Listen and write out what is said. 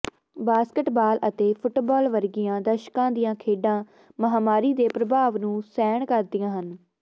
basketball ਅਤੇ football ਵਰਗੀਆਂ ਦਰਸ਼ਕਾਂ ਦੀਆਂ ਖੇਡਾਂ ਮਹਾਂਮਾਰੀ ਦੇ ਪ੍ਰਭਾਵ ਨੂੰ ਸਹਿਣ ਕਰਦੀਆਂ ਹਨ